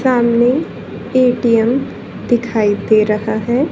सामने ए_टी_एम दिखाई दे रहा है।